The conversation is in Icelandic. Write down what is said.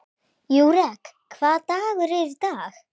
Júrek, hvaða dagur er í dag?